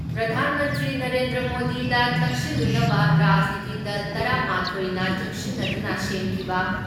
ꯄ꯭ꯔꯙꯥꯟ ꯃꯟꯇ꯭ꯔꯤ ꯅꯔꯦꯟꯗ꯭ꯔ ꯃꯣꯗꯤꯗ ꯇꯛꯁꯤꯜꯂꯨꯅꯕ ꯔꯥꯖꯅꯤꯇꯤ ꯗꯜ ꯇꯔꯥ ꯃꯥꯊꯣꯏꯅ ꯆꯨꯡꯁꯤꯟꯅꯗꯨꯅ ꯁꯦꯝꯈꯤꯕ